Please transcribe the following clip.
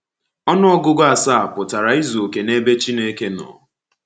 Ọnụ ọgụgụ asaa pụtara izu oke n’ebe Chineke nọ.